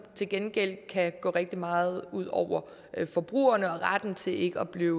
til gengæld kan gå rigtig meget ud over forbrugerne og retten til ikke at blive